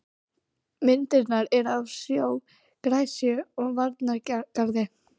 Myndirnar eru af sjó, gresju og varnargarði.